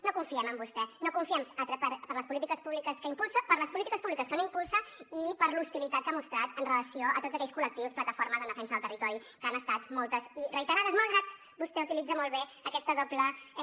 no confiem en vostè no hi confiem per les polítiques públiques que impulsa per les polítiques públiques que no impulsa i per l’hostilitat que ha mostrat amb relació a tots aquells col·lectius plataformes en defensa del territori que han estat moltes i reiterades malgrat que vostè utilitza molt bé aquesta doble